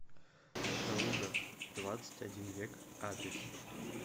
калуга двадцать один век адрес